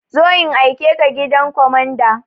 Zo in aikeka gidan kwamanda!